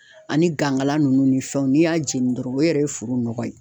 Ani gangala nunnu ni fɛnw n'i y'a jeni dɔrɔn o yɛrɛ ye foro nɔgɔ ye